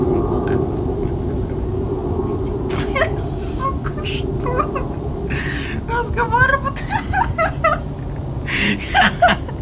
вот а я говорю спокойно разговаривает сука что разговаривают ха ха